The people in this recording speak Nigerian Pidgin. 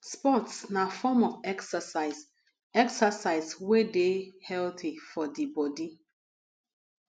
sports na form of exercise exercise wey de healthy for di body